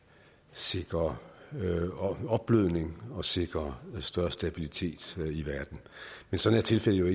sikre opblødning og sikre større stabilitet i verden men sådan er tilfældet jo